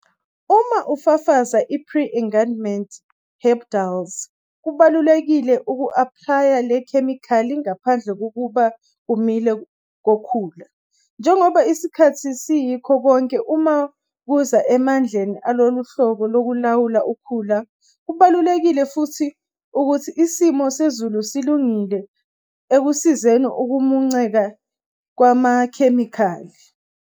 Uma ufafaza i-pre-emergent herbicides, kubalulekile uku-aplaya le khemikhali ngaphambi kokuba kumile kokhula, njengoba isikhathi siyikho konke uma kuza emandleni aloluhlobo lokulawula ukhula. Kubalulekile futhi ukuthi isimo sezulu silungile ekusizeni ukumunceka kwamakhemikhali.